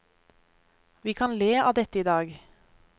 Vi kan le av dette i dag.